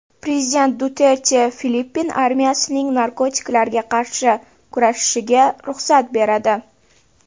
Prezident Duterte Filippin armiyasining narkotiklarga qarshi kurashishiga ruxsat beradi.